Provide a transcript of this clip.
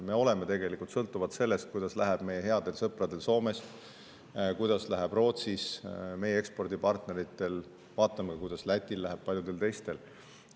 Me sõltume tegelikult sellest, kuidas läheb meie headel sõpradel Soomes ja meie ekspordipartneritel Rootsis, vaatame ka, kuidas Lätil ja paljudel teistel läheb.